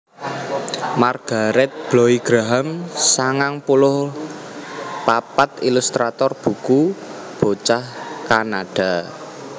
Margaret Bloy Graham sangang puluh papat ilustrator buku bocah Kanada